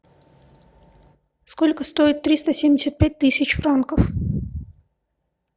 сколько стоит триста семьдесят пять тысяч франков